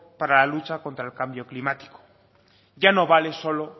para la lucha contra el cambio climático ya no vale solo